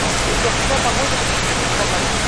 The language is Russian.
сбер какая погода в воскресенье в казани